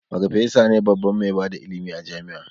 Farfesa ne babban mai bada ilimi a jami'a